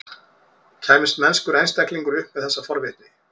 Kæmist mennskur einstaklingur upp með þessa forvitni?